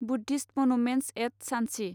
Buddhist monuments at Sanchi